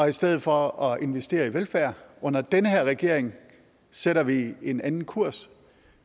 i stedet for at investere i velfærd under den her regering sætter vi en anden kurs